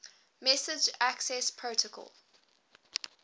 message access protocol